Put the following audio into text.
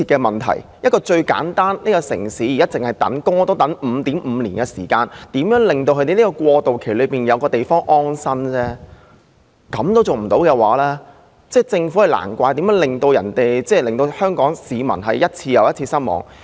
問題如此迫切，單是輪候公屋也要 5.5 年時間，現在只是要求在過渡期內為輪候人士提供安身之所而已，連這也做不到，難怪政府一次又一次令香港市民失望。